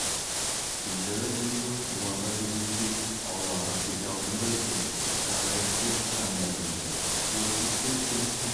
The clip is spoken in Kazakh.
бейшара динго бұларға кездеспей аулағырақ кете алдың ба екен сарғая күткен таң да білінді тропикте түн